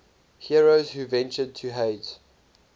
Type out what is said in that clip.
heroes who ventured to hades